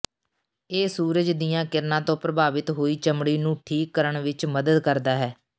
ਇਹ ਸੂਰਜ ਦੀਆਂ ਕਿਰਨਾਂ ਤੋਂ ਪ੍ਰਭਾਵਿਤ ਹੋਈ ਚਮੜੀ ਨੂੰ ਠੀਕ ਕਰਣ ਵਿਚ ਮਦਦ ਕਰਦਾ ਹੈ